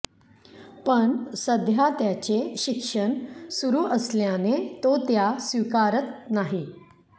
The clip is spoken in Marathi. पण सध्या त्याचे शिक्षण सुरू असल्याने तो त्या स्वीकारत नाही